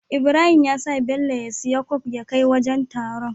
Ibrahim yasa Bello ya siya coke ya kai wajan taron